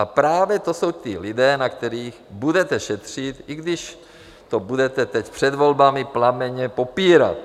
A právě to jsou ti lidé, na kterých budete šetřit, i když to budete teď před volbami plamenně popírat.